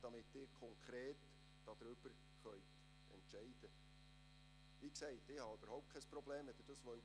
Das Wort hat Herr Regierungsrat Philippe Müller.